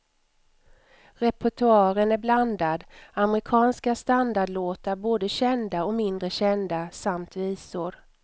Repertoaren är blandad, amerikanska standardlåtar, både kända och mindre kända, samt visor.